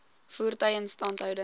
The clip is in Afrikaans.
voertuie instandhouding